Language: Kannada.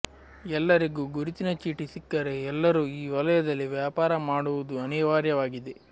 ಎಲ್ಲರಿಗೂ ಗುರುತಿನ ಚೀಟಿ ಸಿಕ್ಕರೆ ಎಲ್ಲರೂ ಈ ವಲಯದಲ್ಲಿ ವ್ಯಾಪಾರ ಮಾಡುವುದು ಅನಿವಾರ್ಯವಾಗಿದೆ